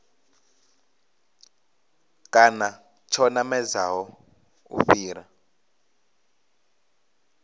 kana tsho namedzaho u fhira